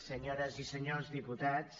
senyores i senyors diputats